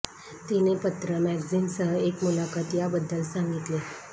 तिने पत्र मॅगझिन सह एक मुलाखत या बद्दल सांगितले